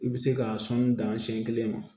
I bɛ se ka sɔnni dan siɲɛ kelen ma